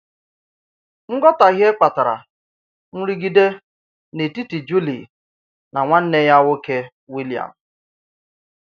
Ǹghọtahíè kpatarà ǹrịdígè n’etiti Júlíè nà nwànnè yà nwòkè, Wìllìàm.